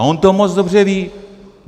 A on to moc dobře ví.